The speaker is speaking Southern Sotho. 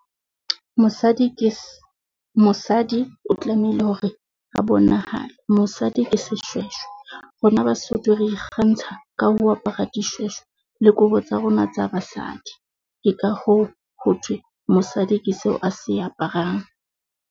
Mosadi ke mosadi o tlamehile hore a bonahale. Mosadi ke seshweshwe. Rona Basotho re ikgantsha ka ho apara dishweshwe le kobo tsa rona tsa basadi. Ke ka hoo ho thwe mosadi ke seo a se aparang.